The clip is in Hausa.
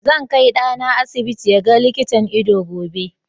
Zan kai ɗana asibiti ya ga likitan ido gobe.